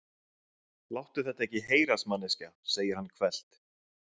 Láttu þetta ekki heyrast manneskja, segir hann hvellt.